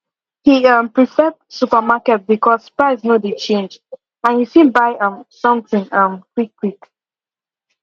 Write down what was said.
he um prefer supermarket because price no de change and you fit buy um something um quick quick